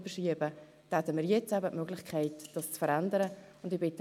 Ich glaube, Sie sind in der FiKo.